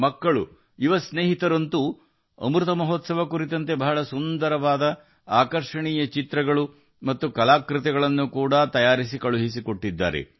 ಮಕ್ಕಳು ಮತ್ತು ಯುವ ಸ್ನೇಹಿತರು ಅಮೃತ ಮಹೋತ್ಸವದಲ್ಲಿ ಸುಂದರವಾದ ಚಿತ್ರಗಳು ಮತ್ತು ಕಲಾಕೃತಿಗಳನ್ನು ಕಳುಹಿಸಿದ್ದಾರೆ